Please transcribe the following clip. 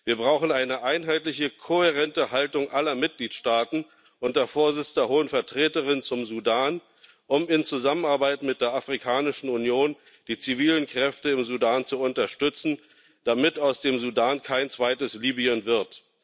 Wir brauchen eine einheitliche, kohärente Haltung aller Mitgliedstaaten unter Vorsitz der Hohen Vertreterin zum Sudan, um in Zusammenarbeit mit der Afrikanischen Union die zivilen Kräfte im Sudan zu unterstützen, damit aus dem Sudan kein zweites Libyen wird.